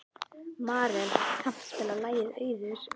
Marel, kanntu að spila lagið „Auður“?